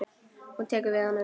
Hún tekur við honum.